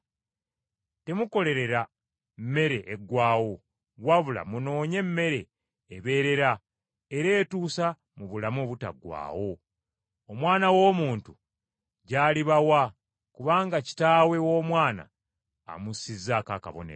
Temukolerera mmere eggwaawo, wabula munoonye emmere ebeerera era etuusa mu bulamu obutaggwaawo, Omwana w’Omuntu gy’alibawa, kubanga Kitaawe w’Omwana amussizaako akabonero.”